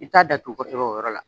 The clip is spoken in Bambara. I t'a datugunu kosɛbɛ o yɔrɔ la